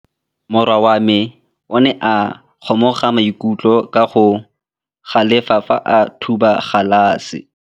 Morwa wa me o ne a kgomoga maikutlo ka go galefa fa a thuba galase.